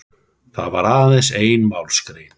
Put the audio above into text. Það var aðeins ein málsgrein